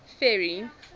ferry